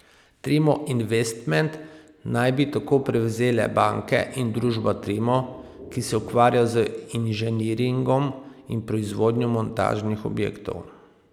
Trimo Investment naj bi tako prevzele banke in družba Trimo, ki se ukvarja z inženiringom in proizvodnjo montažnih objektov.